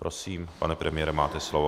Prosím, pane premiére, máte slovo.